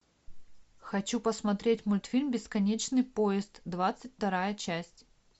хочу посмотреть мультфильм бесконечный поезд двадцать вторая часть